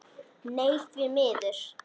Nei, því miður.